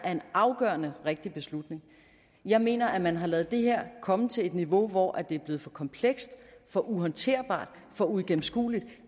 er en afgørende rigtig beslutning jeg mener at man har ladet det her komme til et niveau hvor det er blevet for komplekst for uhåndterbart for uigennemskueligt